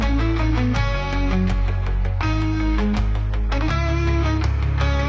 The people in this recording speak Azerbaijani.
Və bizim ruhumuzda olan boşluğu doldurur.